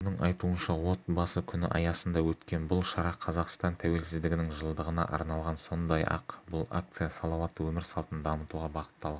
оның айтуынша отбасы күні аясында өткен бұл шара қазақстан тәуелсіздігінің жылдығына арналған сондай-ақ бұл акция салауатты өмір салтын дамытуға бағытталған